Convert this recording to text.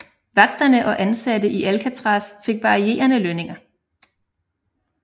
Vagterne og ansatte i Alcatraz fik varierende lønninger